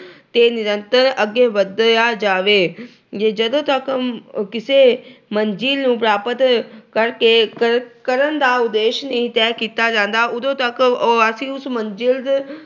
ਤੇ ਨਿਰੰਤਰ ਅੱਗੇ ਵਧਿਆ ਜਾਵੇ। ਜਦੋਂ ਤੱਕ ਕਿਸੇ ਮੰਜਿਲ ਨੂੰ ਪ੍ਰਾਪਤ ਕਰਕੇ ਅਹ ਕਰਨ ਦਾ ਉਦੇਸ਼ ਨਹੀਂ ਤੈਅ ਕੀਤਾ ਜਾਂਦਾ, ਉਦੋਂ ਤੱਕ ਅਹ ਅਸੀਂ ਉਸ ਮੰਜਿਲ